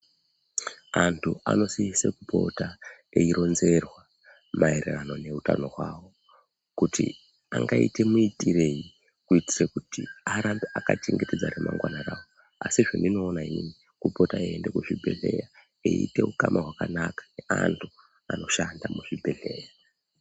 Antu anosise kupota eironzerwa maererano neutano hwawo kuti angaite muitirei kuitire kuti arambe akachengetedza remangwana rawo, asi zvandiniona inini kupota eienda kuzvibhedhlera ite ukama hwakanaka neantu anoshanda muzvibhedhlera.